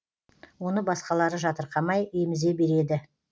оны басқалары жатырқамай емізе береді